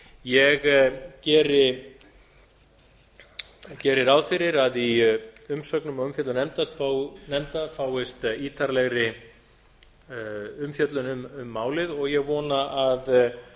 ég geri ráð fyrir að í umsögnum og umfjöllun nefnda fáist ítarlegri umfjöllun um málið og ég vona að